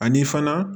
Ani fana